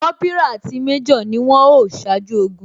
Kópírà àti méjò ni wón o ṣáájú ogun